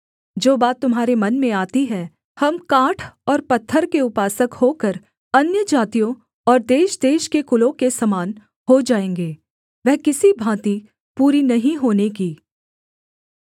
जो बात तुम्हारे मन में आती है हम काठ और पत्थर के उपासक होकर अन्यजातियों और देशदेश के कुलों के समान हो जाएँगे वह किसी भाँति पूरी नहीं होने की